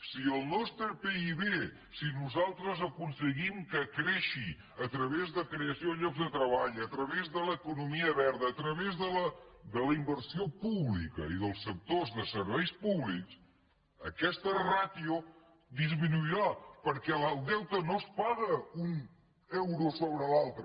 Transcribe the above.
si el nostre pib si nosaltres aconseguim que creixi a través de creació de llocs de treball a través de l’economia verda a través de la inversió pública i dels sectors de serveis públics aquesta ràtio disminuirà perquè el deute no es paga un euro sobre l’altre